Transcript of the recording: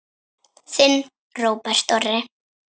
Þinn Róbert Orri.